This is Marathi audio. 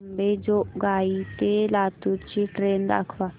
अंबेजोगाई ते लातूर ची ट्रेन दाखवा